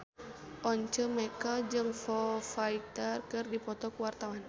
Once Mekel jeung Foo Fighter keur dipoto ku wartawan